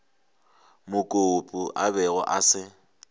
mokopu a bego a se